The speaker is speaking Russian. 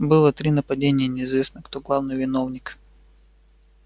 было три нападения и неизвестно кто главный виновник